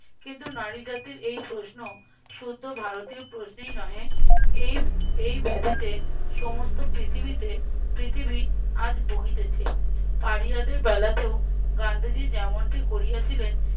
কিন্তু নারী জাতির এই প্রশ্ন শুদ্ধ ভারতীয় প্রশ্নেই নহে এই এই ব্যাধিতে সমস্ত পৃথিবীতে পৃথিবী আজ ভুগিতেছে পাড়িয়াদের বেলাতেও গান্ধীজী যেমনটা করিয়াছিলেন